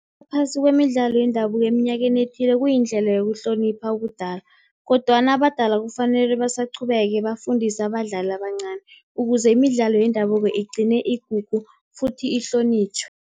Ngaphasi kwemidlalo yendabuko eminyakeni ethileko, kuyindlela yokuhlonipha ubudala. Kodwana abadala kufanele basaqhubeke bafundise abadlali abancani, ukuze imidlalo yendabuko igcine igugu futhi ihlonitjhwe.